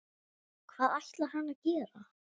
Hvað ætlar hann að gera?